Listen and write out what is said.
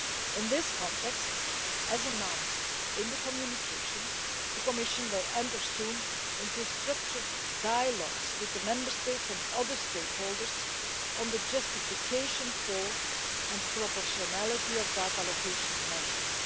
In this context, as announced in the communication, the Commission will soon enter into structured dialogues with the Member States and other stakeholders on the justification for, and proportionality of, data allocation measures.